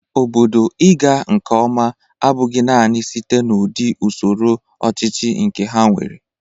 Obodo ị ga nke ọma abụghị nanị site n'udị usoro ọchịchị nke ha nwere.